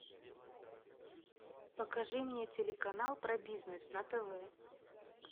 покажи мне телеканал про бизнес на тв